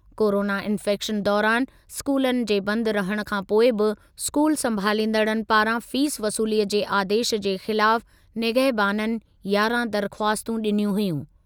Corona infection दौरानि स्कूलनि जे बंदि रहणु खां पोइ बि स्कूल संभालींदड़नि पारां फ़ीस वसूलीअ जे आदेशु जे ख़िलाफ निगहबाननि यारहं दरख़्वास्तूं ॾिनियूं हुयूं।